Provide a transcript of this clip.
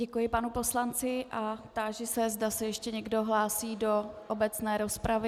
Děkuji panu poslanci a táži se, zda se ještě někdo hlásí do obecné rozpravy.